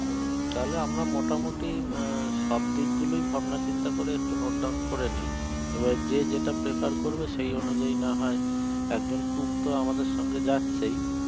তালে আমরা মোটামোটি সব দিক গুলোই ভাবনা চিন্তা করে একটু note down করে নি আবার যে যেটা prefer করবে সেই অনুজাই নাহয় একজন cook তো আমাদের সঙ্গে যাচ্ছেই